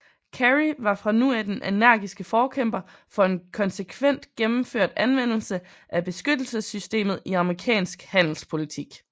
Carey var fra nu af den energiske forkæmper for en konsekvent gennemført anvendelse af beskyttelsessystemet i amerikansk handelspolitik